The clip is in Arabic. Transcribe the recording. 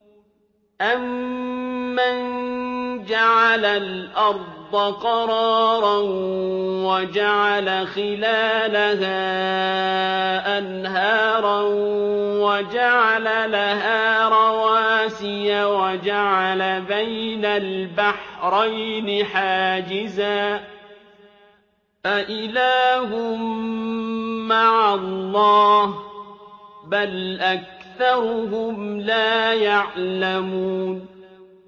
أَمَّن جَعَلَ الْأَرْضَ قَرَارًا وَجَعَلَ خِلَالَهَا أَنْهَارًا وَجَعَلَ لَهَا رَوَاسِيَ وَجَعَلَ بَيْنَ الْبَحْرَيْنِ حَاجِزًا ۗ أَإِلَٰهٌ مَّعَ اللَّهِ ۚ بَلْ أَكْثَرُهُمْ لَا يَعْلَمُونَ